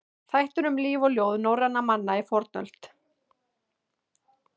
Þættir um líf og ljóð norrænna manna í fornöld.